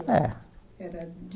É Era de